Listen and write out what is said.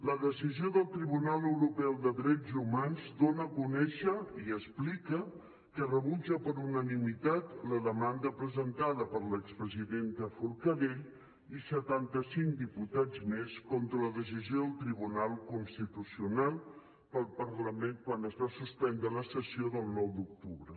la decisió del tribunal europeu de drets humans dona a conèixer i explica que rebutja per unanimitat la demanda presentada per l’expresidenta forcadell i setanta cinc diputats més contra la decisió del tribunal constitucional pel parlament quan es va suspendre la sessió del nou d’octubre